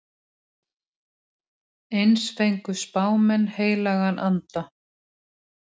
Eins fengu spámenn heilagan anda.